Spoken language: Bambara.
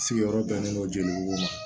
Sigiyɔrɔ bɛnnen don jelibugu ma